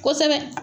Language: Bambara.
Kosɛbɛ